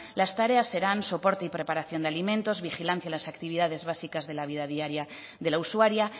las tareas serán soporte y preparación de alimentos vigilancia en las actividades básicas de la vida diaria de la usuaria